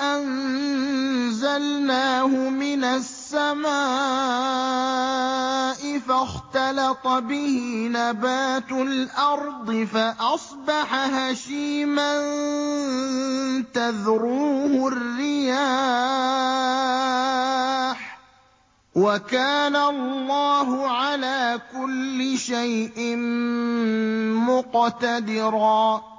أَنزَلْنَاهُ مِنَ السَّمَاءِ فَاخْتَلَطَ بِهِ نَبَاتُ الْأَرْضِ فَأَصْبَحَ هَشِيمًا تَذْرُوهُ الرِّيَاحُ ۗ وَكَانَ اللَّهُ عَلَىٰ كُلِّ شَيْءٍ مُّقْتَدِرًا